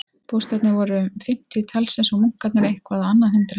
Bústaðirnir voru um fimmtíu talsins og munkarnir eitthvað á annað hundrað.